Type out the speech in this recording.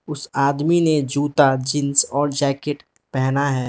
उस आदमी ने जूता जींस और जैकेट पेहना है।